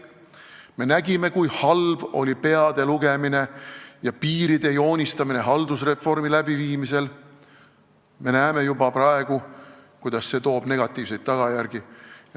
Me nägime, kui halb oli peade lugemine ja piiride joonistamine haldusreformi elluviimisel, juba praegu on näha, kuidas see toob negatiivseid tagajärgi.